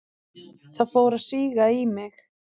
Það fór að síga í mig.